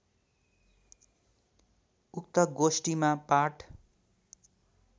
उक्त गोष्ठीमा पाठ